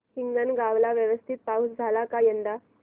हिंगणगाव ला व्यवस्थित पाऊस झाला का यंदा